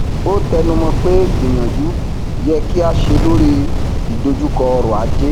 ó tẹnumọ pé gbìyànjú yẹ kí a ṣe lórí ìdojúkọ ọrọ ajé